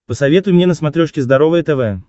посоветуй мне на смотрешке здоровое тв